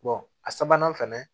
a sabanan fɛnɛ